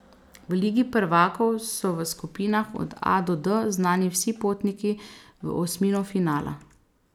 V Ligi prvakov so v skupinah od A do D znani vsi potniki v osmino finala.